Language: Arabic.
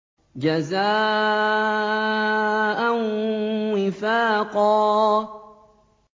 جَزَاءً وِفَاقًا